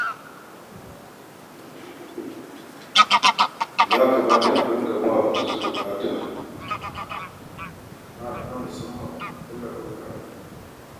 Ya kamata a dinga ba wa masu buƙata ta musamman tallafin karatu